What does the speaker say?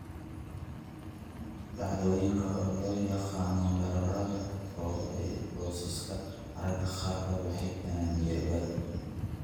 Dhacdooyinkan, oo loo yaqaan weerarrada ketoacidosiska, mararka qaarkood waxay keenaan miyir-beel.